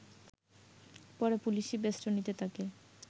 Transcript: পরে পুলিশি বেস্টনীতে তাকে